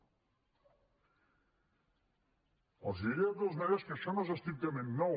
els diré de totes maneres que això no és estrictament nou